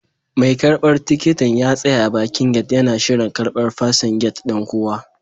Mai karbar tikitin ya tsaya a bakin gate yana shirin karban fasin gate ɗin kowa.